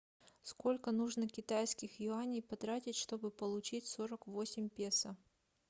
сколько нужно китайских юаней потратить чтобы получить сорок восемь песо